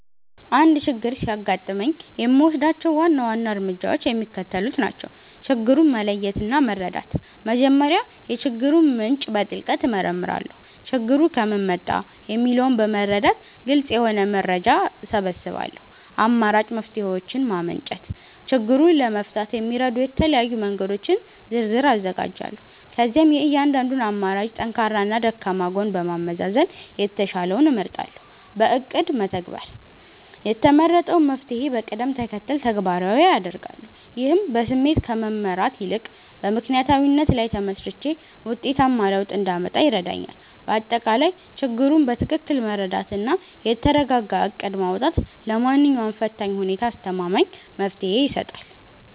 አንድ ችግር ሲያጋጥመኝ የምወስዳቸው ዋና ዋና እርምጃዎች የሚከተሉት ናቸው፦ ችግሩን መለየትና መረዳት፦ መጀመሪያ የችግሩን ምንጭ በጥልቀት እመረምራለሁ። ችግሩ ከምን መጣ? የሚለውን በመረዳት ግልጽ የሆነ መረጃ እሰበስባለሁ። አማራጭ መፍትሔዎችን ማመንጨት፦ ችግሩን ለመፍታት የሚረዱ የተለያዩ መንገዶችን ዝርዝር አዘጋጃለሁ። ከዚያም የእያንዳንዱን አማራጭ ጠንካራና ደካማ ጎን በማመዛዘን የተሻለውን እመርጣለሁ። በእቅድ መተግበር፦ የተመረጠውን መፍትሔ በቅደም ተከተል ተግባራዊ አደርጋለሁ። ይህም በስሜት ከመመራት ይልቅ በምክንያታዊነት ላይ ተመስርቼ ውጤታማ ለውጥ እንዳመጣ ይረዳኛል። ባጠቃላይ፣ ችግሩን በትክክል መረዳትና የተረጋጋ እቅድ ማውጣት ለማንኛውም ፈታኝ ሁኔታ አስተማማኝ መፍትሔ ይሰጣል።